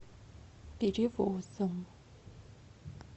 перевозом